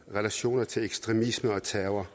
relationer til ekstremisme og terror